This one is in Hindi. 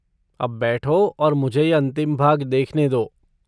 अब बैठो और मुझे यह अंतिम भाग देखने दो।